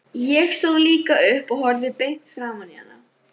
Ég stóð líka upp og horfði beint framan í hana.